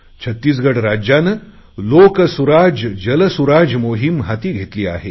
छत्तीसगड राज्याने लोकसुराज्यजलसुराज्य मोहिम हाती घेतली आहे